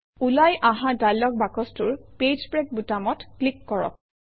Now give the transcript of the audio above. ওলাই অহা ডায়লগ বাকচটোৰ পেজ ব্ৰেক বুটামত ক্লিক কৰক